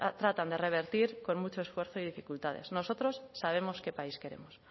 tratan de revertir con muchos esfuerzo y dificultades nosotros sabemos qué país queremos